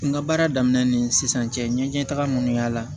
N ka baara daminɛ ni sisan cɛ n ye taga munnu yaala